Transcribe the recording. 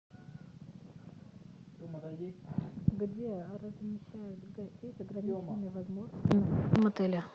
где размещают гостей с ограниченными возможностями в мотеле